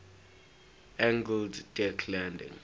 angled deck landing